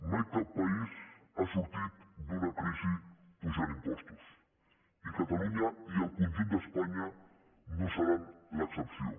mai cap país no ha sortit d’una crisi apujant impostos i catalunya i el conjunt d’espanya no seran l’excepció